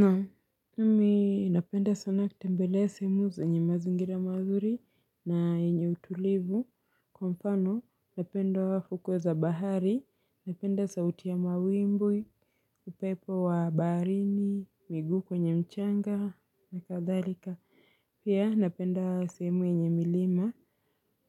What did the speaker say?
Naam, nami napenda sana kutembelea sehemu zenye mazingira mazuri na yenye utulivu. Kwa mfano, napenda hukweza bahari, napenda sauti ya mawimbi, upepo wa baharini, miguu kwenye mchanga, na kadhalika. Pia, napenda sehemu yenye milima.